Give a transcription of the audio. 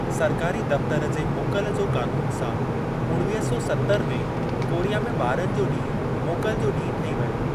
सरकारी दफ्तर जे मोकल जो कानून' सां उणवीह सौ सत्तर में कोरिया में ॿारनि जो ॾींहं मोकल जो ॾींहं ठही वयो।